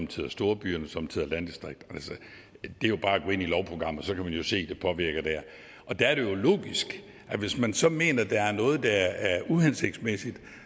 tider storbyerne sommetider landdistrikterne det er bare at gå ind i lovprogrammet og så kan man jo se hvordan det påvirker og der er det jo logisk at hvis man så mener at der er noget der er uhensigtsmæssigt